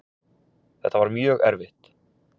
Þetta var mjög erfitt